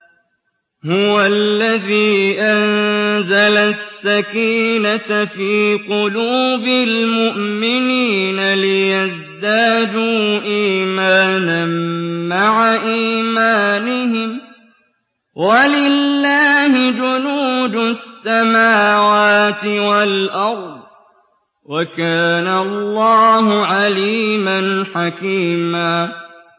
هُوَ الَّذِي أَنزَلَ السَّكِينَةَ فِي قُلُوبِ الْمُؤْمِنِينَ لِيَزْدَادُوا إِيمَانًا مَّعَ إِيمَانِهِمْ ۗ وَلِلَّهِ جُنُودُ السَّمَاوَاتِ وَالْأَرْضِ ۚ وَكَانَ اللَّهُ عَلِيمًا حَكِيمًا